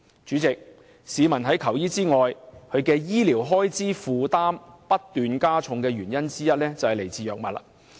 主席，除了在求醫時須付出診金外，市民的醫療開支負擔不斷加重的原因之一在於購買藥物。